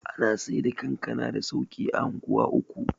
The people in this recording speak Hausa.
ana Saida kankana da sauki a unguwa uku